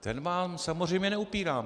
Ten vám samozřejmě neupírám.